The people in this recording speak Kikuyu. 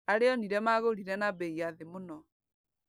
Arĩa onire magũrire na bei ya thĩ mũno.